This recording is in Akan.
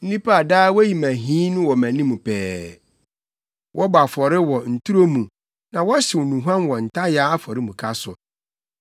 Nnipa a daa no woyi me ahi wɔ mʼanim pɛɛ, wɔbɔ afɔre wɔ nturo mu na wɔhyew nnuhuam wɔ ntayaa afɔremuka so;